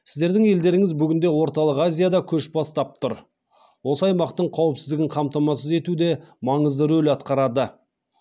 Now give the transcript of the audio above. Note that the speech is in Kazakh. сіздердің елдеріңіз бүгінде орталық азияда көш бастап тұр осы аймақтың қауіпсіздігін қамтамасыз етуде маңызды рөл атқарады